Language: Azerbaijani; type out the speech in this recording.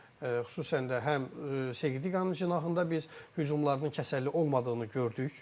Xüsusən də həm Segidi Qanun cinahında biz hücumlarının kəsərli olmadığını gördük.